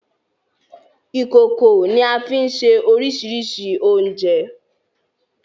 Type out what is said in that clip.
Ìkòkò ni a fi ń se oríṣiríṣi oúnjẹ.